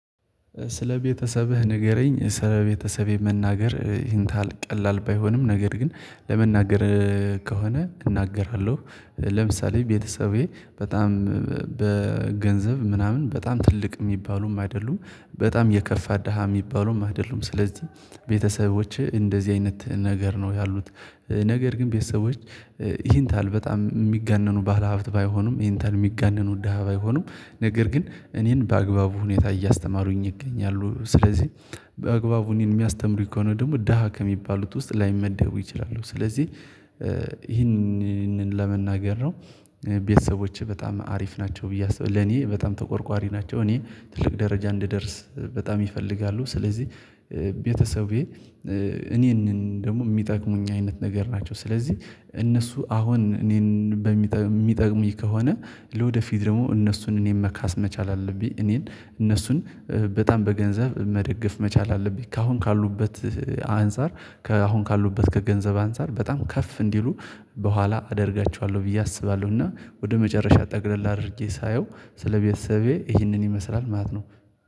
ስለ ቤተሰብህ ንገረኝ ስለ ቤተሰቤ መናገር ይንታህል ቀላል ባይሆንም ነገር ግን ለመናገር ከሆነ እናገራለሁ። ለምሳሌ ቤተሰቤ በጣም በገንዘብ ምናምን በጣም ትልቅ የሚባሉም አይደሉም። በጣም የከፋ ደሃ የሚባሉም አይደሉም ስለዚህ ቤተሰቦችህ እንደዚህ አይነት ነገር ነው ያሉት። ነገር ግን ቤተሰቦች ይሄን ታህል በጣም የሚጋነኑ ባለሀብት ባይሆኑም ኢንታህል የሚጋነኑ ደሃ ባይሆኑም ነገር ግን እኔን በአግባቡ ሁኔታ እያስተማሩኝ ይገኛሉ። ስለዚህ በአግባቡ እኔን የሚያስተምሩኝ ከሆነ ደግሞ ደሃ ከሚባሉት ውስጥ ላይመደቡ ይችላሉ። ስለዚህ ይህንን ለመናገር ነው ቤተሰቦቼ በጣም አሪፍ ናቸው ብዬ አስባለሁ ለኔ በጣም ተቆርቋሪ ናቸው። እኔ ትልቅ ደረጃ እንድደርስ በጣም ይፈልጋሉ። ስለዚህ ቤተሰቤ እኔን ደግሞ የሚጠቅሙኝ አይነት ነገር ናቸው። ስለዚህ እነሱ አሁን እኔን በሚጠ ሚጠቅሙኝ ከሆነ ለወደፊት ደግሞ እነሱን እኔን መካስ መቻል አለብኝ እኔን እነሱን በጣም በገንዘብ መደገፍ መቻል አለብኝ። ከአሁን ካሉበት አንፃር ከአሁን ካሉበት ከገንዘብ አንፃር በጣም ከፍ እንዲሉ በኋላ አደርጋቸዋለሁ ብዬ አስባለሁ። እና ወደ መጨረሻ ጠቅለል አድርጌ ሳየው ስለ ቤተሰቤ ይህንን ይመስላል ማለት ነው